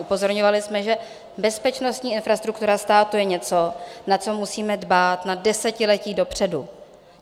Upozorňovali jsme, že bezpečnostní infrastruktura státu je něco, na co musíme dbát na desetiletí dopředu.